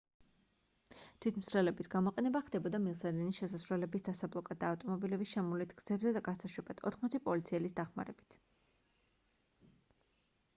თვითმცლელების გამოყენება ხდებოდა მილსადენის შესასვლელების დასაბლოკად და ავტომობილების შემოვლით გზებზე გასაშვებად 80 პოლიციელის დახმარებით